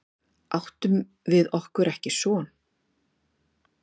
Áttum við okkur ekki son?